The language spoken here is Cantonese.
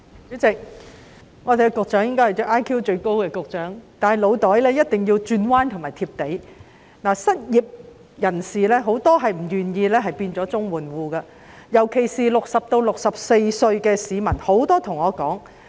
主席，局長應是 IQ 最高的局長，但他的腦袋一定要懂得轉彎，他也要"貼地"，因為很多失業人士不願意成為綜援戶，尤其是60歲至64歲的市民。